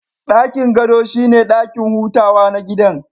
Dakin gado shine dakin hutawa na gidan